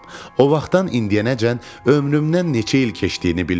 O vaxtdan indiyənəcən ömrümdən neçə il keçdiyini bilmirəm.